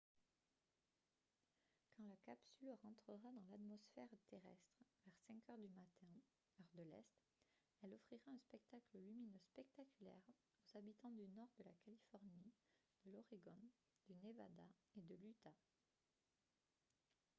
quand la capsule rentrera dans l’atmosphère terrestre vers 5 heures du matin heure de l’est elle offrira un spectacle lumineux spectaculaire aux habitants du nord de la californie de l’oregon du nevada et de l’utah